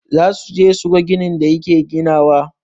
Zasuje suga ginin da yake ginawa.